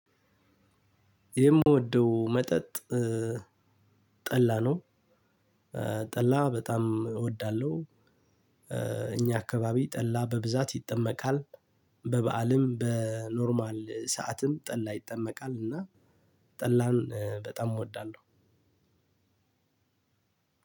የምወደው መጠጥ ጠላ ነው። ጠላ በጣም እወዳለሁ። እኛ አካባቢ ጠላ በብዛት ይጠመቃል። በበአልም በኖርማል ሰዓትም ጠላ ይጠመቃል እና ጠላን በጣም እወዳለሁ።